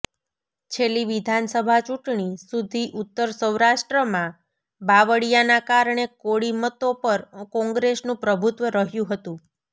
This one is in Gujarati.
છેલ્લી વિધાનસભા ચૂંટણી સુધી ઉત્તર સૌરાષ્ટ્રમાં બાવળિયાના કારણે કોળી મતો પર કોંગ્રેસનું પ્રભુત્વ રહ્યું હતું